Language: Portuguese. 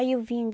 Aí eu vim